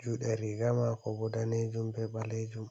juuɗe riga maako bo daneejum be ɓaleejum.